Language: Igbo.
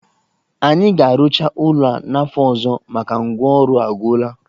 Anyị ga-arụcha ụlo a n'afọ ọzọ maka ngwa ọrụ a gwụla